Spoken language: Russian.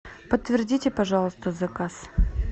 подтвердите пожалуйста заказ